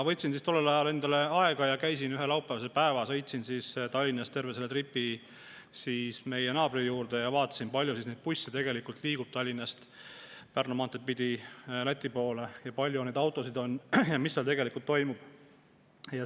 Võtsin siis tollel ajal endale aega ja sõitsin ühel laupäevasel päeval Tallinnast terve tripi meie naabri juurde – vaatasin, kui palju busse liigub Tallinnast Pärnu maanteed pidi Läti poole, kui palju autosid sinna läheb ja mis seal tegelikult toimub.